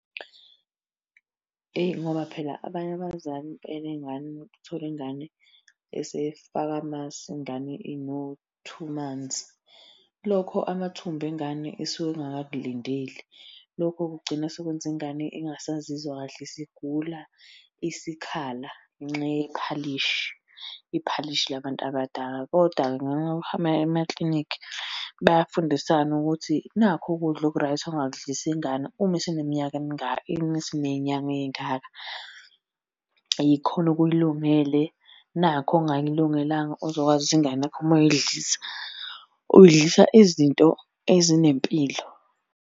Eyi ngoba phela abanye abazali enengane umuntu, uthole ingane esey'faka amasi ingane ino-two months. Lokho amathumbu engane isuke ingakakulindeli. Lokho kugcina sekwenza ingane ingasazizwa kahle isigula, isikhala ngenxayephalishi. Iphalishi labantu abadala, kodwa-ke ngenxa yokuthi amanye amaklinikhi bayafundisana ukuthi nakhu ukudla oku-right ongakudlisa ingane uma eseneminyaka emingaki, uma eseney'nyanga ey'ngaka. Yikhona okuyilungele, nakho okungayilungelanga ozokwazi ukuthi ingane yakho uma uyidlisa, uyidlisa izinto ezinempilo.